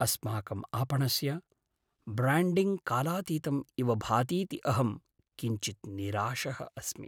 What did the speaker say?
अस्माकम् आपणस्य ब्र्याण्डिङ्ग् कालातीतम् इव भातीति अहं किञ्चित् निराशः अस्मि।